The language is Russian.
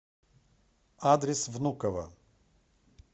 адрес внуково